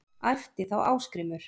æpti þá Ásgrímur